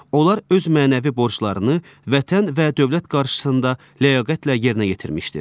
onlar öz mənəvi borclarını Vətən və dövlət qarşısında ləyaqətlə yerinə yetirmişdir.